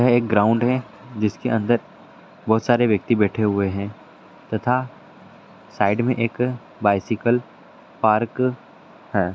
यह एक ग्राउंड है जिसके अंदर बहुत सारे व्यक्ति बैठे हुए है तथा साइड मे एक बाई साइकल पार्क है।